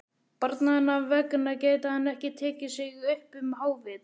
Barnanna vegna gæti hann ekki tekið sig upp um hávetur.